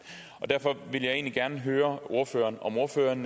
derfor vil jeg egentlig gerne høre ordføreren om ordføreren